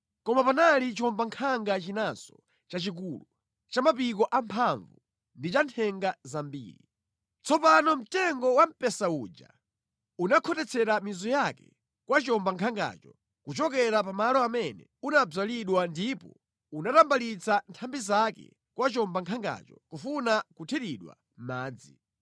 “ ‘Koma panali chiwombankhanga chinanso chachikulu, cha mapiko amphamvu ndi cha nthenga zambiri. Tsopano mtengo wamphesa uja unakhotetsera mizu yake kwa chiwombankhangacho kuchokera pa malo amene unadzalidwa ndipo unatambalitsa nthambi zake kwa chiwombankhangacho kufuna kuthiridwa madzi.